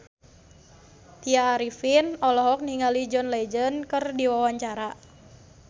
Tya Arifin olohok ningali John Legend keur diwawancara